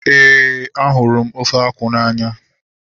Éè, a hụrụ ofe akwụ n'anya